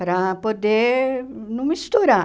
Para poder não misturar.